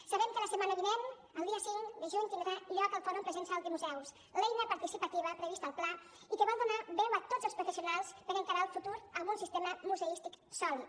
sabem que la setmana vinent el dia cinc de juny tindrà lloc el fòrum presencial dels museus l’eina participativa prevista al pla i que vol donar veu a tots els professionals per encarar el futur amb un sistema museístic sòlid